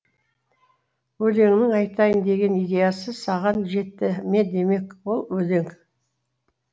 өлеңнің айтайын деген идеясы саған жетті ме демек ол өлең